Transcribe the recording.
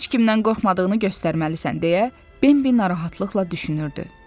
Heç kimdən qorxmadığını göstərməlisən deyə Bambi narahatlıqla düşünürdü.